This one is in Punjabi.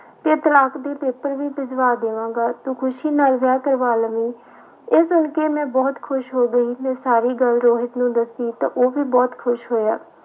ਤੇ ਤਲਾਕ ਦੇ ਪੇਪਰ ਵੀ ਭਿਜਵਾ ਦੇਵਾਂਗਾ, ਤੂੰ ਖ਼ੁਸ਼ੀ ਨਾਲ ਵਿਆਹ ਕਰਵਾ ਲਵੀਂ ਇਹ ਸੁਣ ਕੇ ਮੈਂ ਬਹੁਤ ਖ਼ੁਸ਼ ਹੋ ਗਈ, ਮੈਂ ਸਾਰੀ ਗੱਲ ਰੋਹਿਤ ਨੂੰ ਦੱਸੀ ਤਾਂ ਉਹ ਵੀ ਬਹੁਤ ਖ਼ੁਸ਼ ਹੋਇਆ।